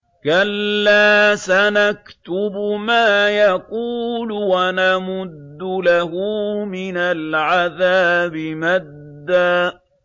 كَلَّا ۚ سَنَكْتُبُ مَا يَقُولُ وَنَمُدُّ لَهُ مِنَ الْعَذَابِ مَدًّا